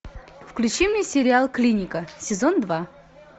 включи мне сериал клиника сезон два